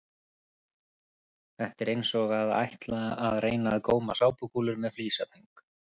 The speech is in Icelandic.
Þetta er eins og að ætla að reyna að góma sápukúlur með flísatöng!